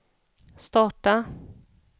starta